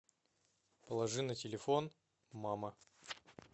положи на телефон мама